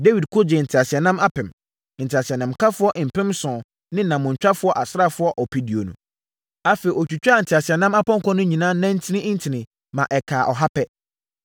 Dawid ko gyee nteaseɛnam apem, nteaseɛnamkafoɔ mpem nson ne nammɔntwa asraafoɔ ɔpeduonu. Afei, ɔtwitwaa nteaseɛnam apɔnkɔ no nyinaa nantin ntini, ma ɛkaa ɔha pɛ.